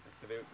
Você veio